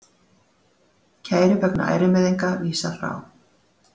Kæru vegna ærumeiðinga vísað frá